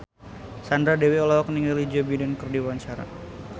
Sandra Dewi olohok ningali Joe Biden keur diwawancara